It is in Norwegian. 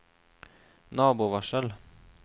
nabovarsel